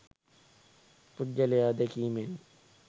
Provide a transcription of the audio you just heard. පුද්ගලයා දැකීමෙන්